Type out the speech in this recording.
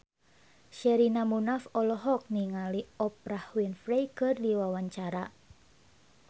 Sherina Munaf olohok ningali Oprah Winfrey keur diwawancara